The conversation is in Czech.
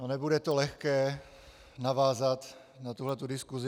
No nebude to lehké navázat na tuhle diskusi.